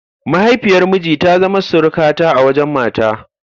Mahaifiyar miji ta zama surukata a wajen mata.